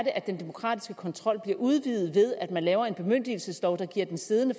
at den demokratiske kontrol bliver udvidet ved at man laver en bemyndigelseslov der giver den siddende